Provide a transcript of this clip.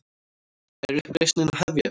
Er uppreisnin að hefjast?